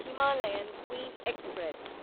Himalayan queen express